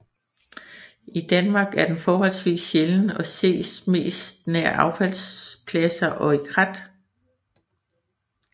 I Danmark er den forholdsvis sjælden og ses mest nær affaldspladser og i krat